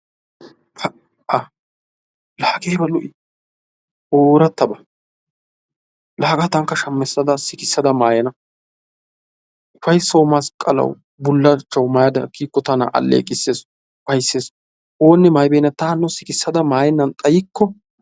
Aa"a! Laa hagee ayiba lo"i? Oorattaba laa hagaa tankka shamissada sikissada maayana. Ufayissawu, masqqalawu, bullachchawu mayada kiyikko tana aalleqisses ufayissees. Oonne maayibeenna ta hanno sikissada mayennan xayikko.